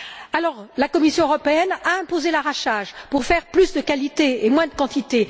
Alors la Commission européenne a imposé l'arrachage pour faire plus de qualité et moins de quantité.